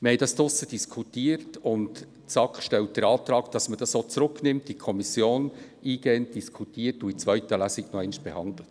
Wir haben darüber diskutiert, und die SAK stellt den Antrag, diesen Artikel in die Kommission zurückzunehmen, um diesen eingehend zu diskutieren und in der zweiten Lesung nochmals zu behandeln.